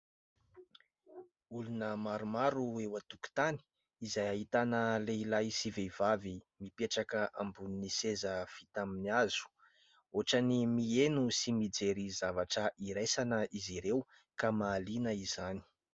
Olona maromaro eo an-tokotany, izay ahitana lehilahy sy vehivavy mipetraka ambonin'ny seza vita amin'ny hazo, ohatra ny miheno sy mijery zavatra iraisana izy ireo ka mahaliana izany.